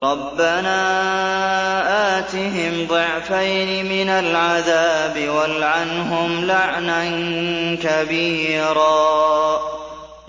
رَبَّنَا آتِهِمْ ضِعْفَيْنِ مِنَ الْعَذَابِ وَالْعَنْهُمْ لَعْنًا كَبِيرًا